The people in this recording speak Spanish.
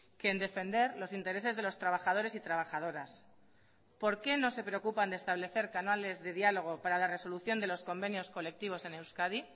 que en defender los intereses de los trabajadores y trabajadoras por qué no se preocupan de establecer canales de diálogo para la resolución de los convenios colectivos en euskadi